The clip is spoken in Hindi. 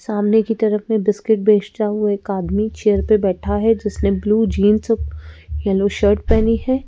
सामने की तरफ में बिस्किट बेचता हुआ एक आदमी चेयर पे बैठा है जिसने ब्लू जींस येलो शर्ट पहनी है।